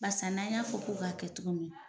Barisa n'an y'a fɔ ko k'a kɛ cogo min